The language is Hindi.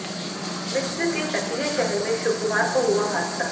मिस्र के तटीय शहर में शुक्रवार को हुआ हादसा